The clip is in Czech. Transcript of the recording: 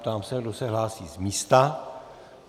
Ptám se, kdo se hlásí z místa.